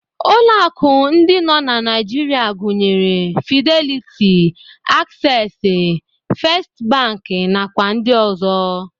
Ụlọ akụ ndị nọ na Naijiria gụnyere Fideliti, Aksesị, Fest bankị, nakwa ndị ọzọ.